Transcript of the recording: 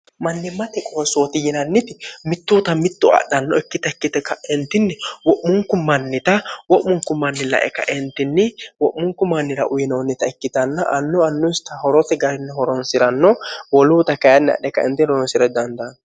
mannimmate qoossooti yinanniti mittuuta mittu adhanno ikkita ikkite ka'entinni wo'munku mannita wo'munku manni lae kaentinni wo'munku mannira uyinoonnita ikkitanna annu annusita horose garinni horonsi'ranno woluuta kayinni adhe kaenti horonsi're dandaanno